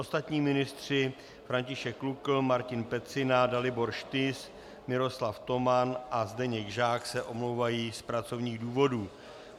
Ostatní ministři, František Lukl, Martin Pecina, Dalibor Štys, Miroslav Toman a Zdeněk Žák, se omlouvají z pracovních důvodů.